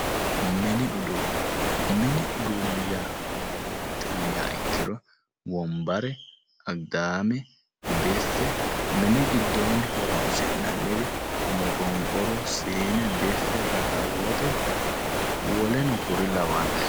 Mini uduune ,mini uduuni mayate yinniha ikkiro wombare, agidame, biffe, mini giddooni horonsi'nanniri moqoqoru, siine ,biffe rakkawote woleno kuri lawano.